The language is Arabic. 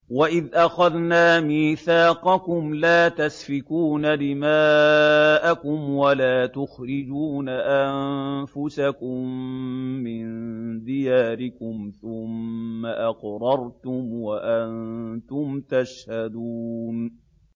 وَإِذْ أَخَذْنَا مِيثَاقَكُمْ لَا تَسْفِكُونَ دِمَاءَكُمْ وَلَا تُخْرِجُونَ أَنفُسَكُم مِّن دِيَارِكُمْ ثُمَّ أَقْرَرْتُمْ وَأَنتُمْ تَشْهَدُونَ